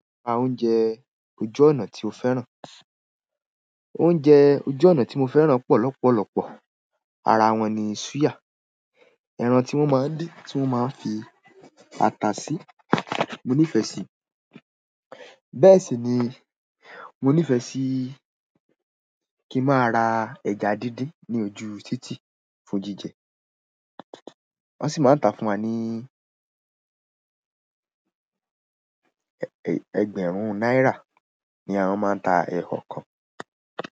Oúnjẹ ojú ọ̀nà tí o fẹ́ràn, oúnjẹ ojú ọ̀nà tí mo fẹ́ràn pọ̀ lopolopo, ara wọn ni súyà ẹran tí wọ́n mo dín tí wọ́n mo fi ata sí mo nífẹ́ sí. Bẹ́ẹ̀ sì ni mo nífẹ̀ẹ́ sí kí n máa ra ẹja díndín ní ojú ú títì fún jíjẹ. Wọ́n sì máa ń ta fún wa ní ẹgbẹ̀rún náírà ni àwọn máa ń ta ikọọ kan.